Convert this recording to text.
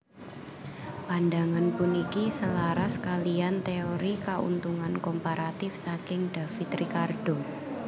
Pandangan puniki selaras kaliyan téori Kauntungan Komparatif saking David Ricardo